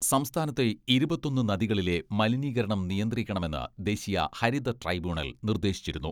സംസ്ഥാനത്തെ ഇരുപത്തൊന്ന് നദികളിലെ മലിനീകരണം നിയന്ത്രിക്കണമെന്ന് ദേശീയ ഹരിത ട്രൈബ്യൂണൽ നിർദേശിച്ചിരുന്നു.